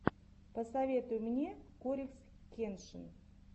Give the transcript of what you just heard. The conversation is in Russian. посоветуй мне корикс кеншин